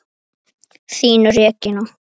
Þín, Regína.